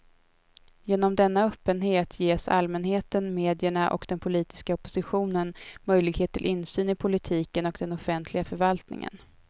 Genom denna öppenhet ges allmänheten, medierna och den politiska oppositionen möjlighet till insyn i politiken och den offentliga förvaltningen.